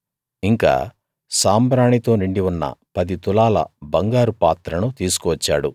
ఇంకా సాంబ్రాణితో నిండి ఉన్న పది తులాల బంగారు పాత్రను తీసుకువచ్చాడు